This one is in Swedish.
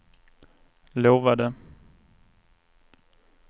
lovade